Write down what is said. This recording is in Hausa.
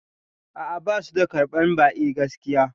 A'a, basu da karɓan ba'i gaskiya